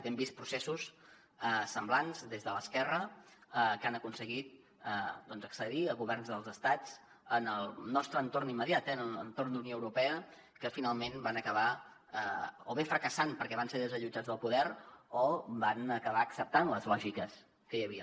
hem vist processos semblants des de l’esquerra que han aconseguit doncs accedir a governs dels estats en el nostre entorn immediat eh en entorn d’unió europea que finalment van acabar o bé fracassant perquè van ser desallotjats del poder o van acabar acceptant les lògiques que hi havia